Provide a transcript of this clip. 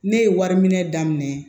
Ne ye wari minɛ daminɛ